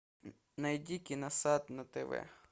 найди киносад на тв